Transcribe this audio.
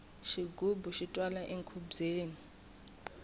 xigubu xi twala enkhubyeni